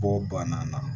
Kɔ banna na